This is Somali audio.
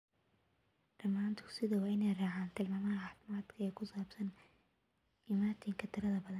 Dhammaan dugsiyadu waa inay raacaan tilmaamaha caafimaadka ee ku saabsan isu imaatinka tirada badan.